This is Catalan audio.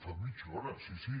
fa mitja hora sí sí